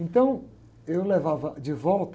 Então eu levava de volta...